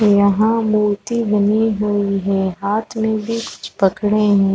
यहाँ मूर्ति बनी हुई है। हाथ में भी कुछ पकड़े है।